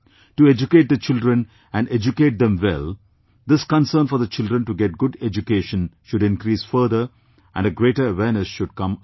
To educate their children and educate them well, this concern for the children to get good education should increase further and a greater awareness should come about